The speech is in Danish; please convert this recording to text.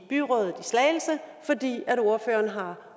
slagelse fordi ordføreren har